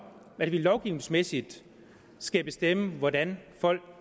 at vi lovgivningsmæssigt skal bestemme hvordan folk